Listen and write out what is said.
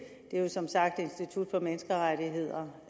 er jo som sagt institut for menneskerettigheder